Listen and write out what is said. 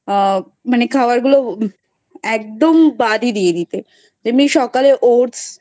মানে খাবার গুলো একদম বাদই দিয়ে দিতে. তেমনি সকালে Oats